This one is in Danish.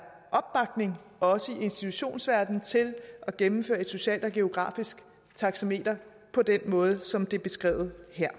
opbakning også i institutionsverdenen til at gennemføre et socialt og geografisk taxameter på den måde som det er beskrevet her